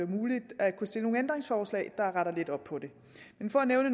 muligt at stille nogle ændringsforslag der retter lidt op på det men for at nævne